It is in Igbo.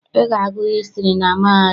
Ị ga-agụ hịstrị na mahadum!